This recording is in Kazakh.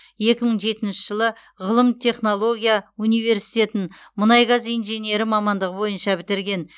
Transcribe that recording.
екі мың жетінші жылы ғылым технология университетін мұнай газ инженері мамандығы бойынша бітірген